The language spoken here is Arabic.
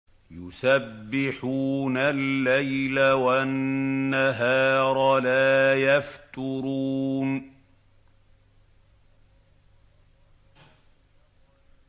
يُسَبِّحُونَ اللَّيْلَ وَالنَّهَارَ لَا يَفْتُرُونَ